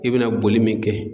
I bena boli min kɛ